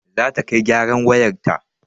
Zata kai gyaran wayarta